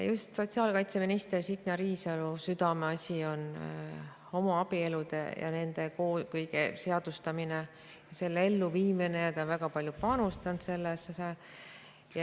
Just sotsiaalkaitseminister Signe Riisalo südameasi on homoabielude ja selle kõige seadustamine ja elluviimine ning ta on sellesse väga palju panustanud.